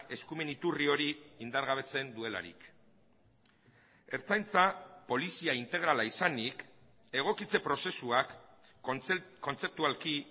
eskumen iturri hori indargabetzen duelarik ertzaintza polizia integrala izanik egokitze prozesuak kontzeptualki